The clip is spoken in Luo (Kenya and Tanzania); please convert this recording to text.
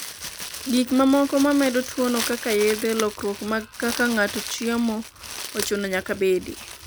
gik mamoko mamedo tuono kaka yedhe, lokruok mag kaka ng'ato chiemo ochuno nyaka bedi